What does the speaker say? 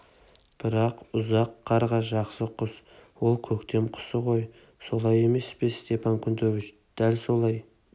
бірақ ұзақ қарға жақсы құс ол көктем құсы ғой солай емес пе степан кнутович дәл солай